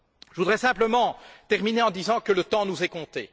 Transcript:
Je voudrais simplement terminer en disant que le temps nous est compté.